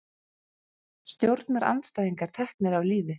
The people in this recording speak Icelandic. Stjórnarandstæðingar teknir af lífi